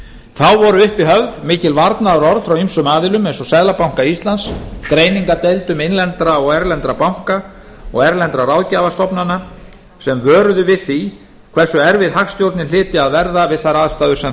þá voru uppi höfð mikil varnaðarorð frá ýmsum aðilum eins og seðlabanka íslands greiningardeildum innlendra og erlendra banka og erlendra ráðgjafastofnana sem vöruðu við því hversu erfið hagstjórnin hlyti að verða við þær aðstæður sem